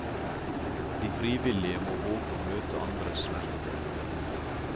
De frivillige må våge å møte andres smerte.